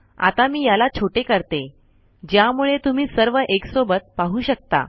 आता मी याला छोटे करते ज्यामुळे तुम्ही सर्व एकसोबत पाहू शकता